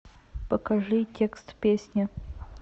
покажи текст песни